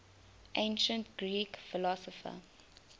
ancient greek philosopher